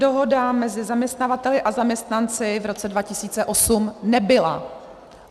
Dohoda mezi zaměstnavateli a zaměstnanci v roce 2008 nebyla!